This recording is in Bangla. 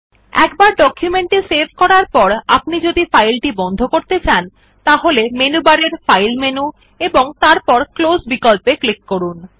একবার ডকুমেন্ট কে সেভ করার পর আপনি যদি ফাইলটি বন্ধ করতে চান তাহলে মেনু বারের ফাইল মেনু এবং তারপর ক্লোজ বিকল্পে ক্লিক করুন